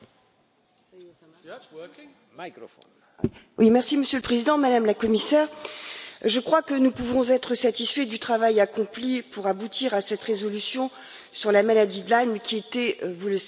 Monsieur le Président, Madame la Commissaire, je crois que nous pouvons être satisfaits du travail accompli pour aboutir à cette résolution sur la maladie de Lyme qui était, vous le savez, très attendue par de nombreuses associations de malades.